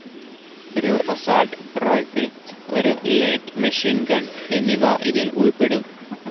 ഒരു assault rifle, ഒരു light machine gun എന്നിവ ഇതിൽ ഉൾപ്പെടും.